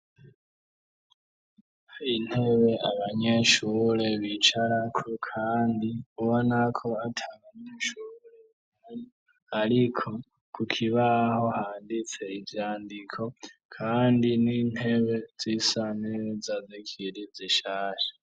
Intebe abanyeshure bicarako kandi ubona ko atabanyeshure ariko ku kibaho handitse ivyandiko kandi n'intebe z'isa neza zikiri zishasha.